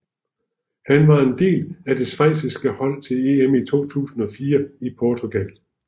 Han var en del af det schweiziske hold til EM i 2004 i Portugal